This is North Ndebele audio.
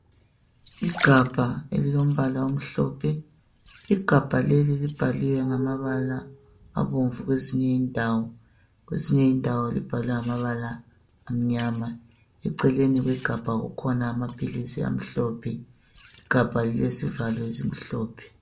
Igabha elilombala omhlophe .Igabha leli libhaliwe ngamabala abomvu kwezinye indawo kwezinye indawo libhalwe ngamabala amnyama. Eceleni kwegabha kukhona amaphilisi amhlophe igabha lilesivalo esimhlophe.